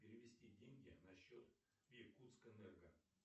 перевести деньги на счет иркутскэнерго